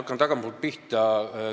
Hakkan tagantpoolt pihta.